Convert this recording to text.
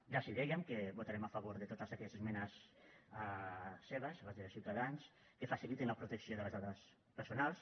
ja els dèiem que votarem a favor de totes aquelles esmenes seves les de ciutadans que facilitin la protecció de les dades personals